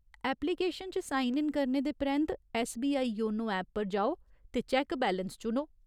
Application च sign in करने दे परैंत्त, ऐस्सबीआई योनो ऐप पर जाओ ते चैक्क बैलेंस चुनो।